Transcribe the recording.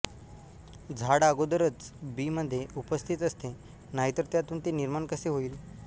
झाड अगोदरच बीमध्ये उपस्थित असते नाहीतर त्यातून ते निर्माण कसे होईल